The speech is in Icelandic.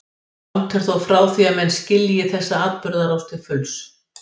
Langt er þó frá því að menn skilji þessa atburðarás til fulls.